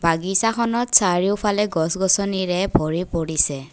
বাগিচাখনত চাৰিওফালে গছ-গছনিৰে ভৰি পৰিছে।